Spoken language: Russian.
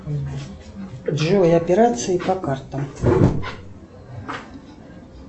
джой операции по картам